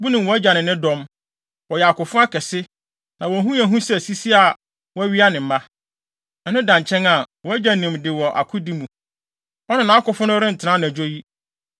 Wunim wʼagya ne ne dɔm; wɔyɛ akofo akɛse, na wɔn ho yɛ hu sɛ sisi a wɔawia ne mma. Ɛno da nkyɛn a, wʼagya nim de wɔ akodi mu; ɔne nʼakofo no rentena anadwo yi.